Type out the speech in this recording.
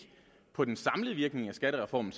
på den samlede virkning af skattereformen